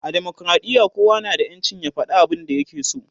a demokradiya kowa na da ƴancin ya fada abun da ya ke so